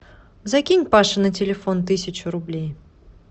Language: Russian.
закинь паше на телефон тысячу рублей